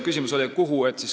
Küsimus oli, et kuhu.